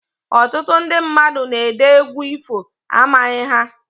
Ọtụtụ ndị mmadụ na-ede egwu ifo, amaghị ha